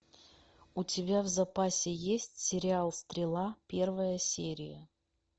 у тебя в запасе есть сериал стрела первая серия